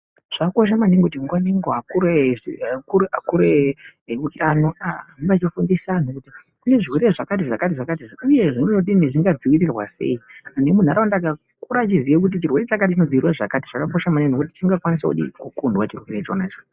Zvakakosha maningi kuti nguwa ngenguwa akuru eutano ahambe echifundisa antu kuti kune zvirwere zvakati zvakati uye zvingadzivirirwa sei, muntu wemuntaraunda akakura achiziva kuti chirwere chakati chinodzivirirwa zvakati , zvakakosha maningi ngekuti chingakwanisa kukundwa chirwere chonacho.